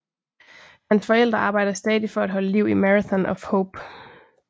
Hans forældre arbejder stadig for at holde liv i Marathon of Hope